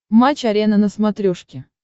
матч арена на смотрешке